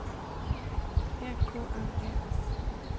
E K N E S